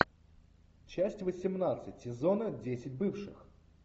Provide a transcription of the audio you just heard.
часть восемнадцать сезона десять бывших